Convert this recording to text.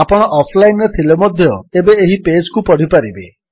ଆପଣ ଅଫଲାଇନ୍ ରେ ଥିଲେ ମଧ୍ୟ ଏବେ ଏହି ପେଜ୍ କୁ ପଢ଼ିପାରିବେ